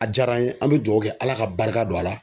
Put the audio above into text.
A jara an ye an be dugawu kɛ ala ka barika don a la